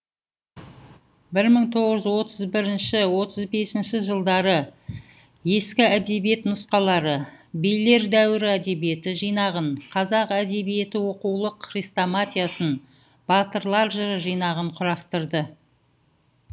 бір мың тоғыз жүз отыз бірінші отыз бесінші жылдары ескі әдебиет нұсқалары билер дәуірі әдебиеті жинағын қазақ әдебиеті оқулық хрестоматиясын батырлар жыры жинағын құрастырды